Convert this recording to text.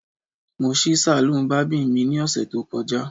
Mo ṣí saloon barbing mi ni ọsẹ to kọja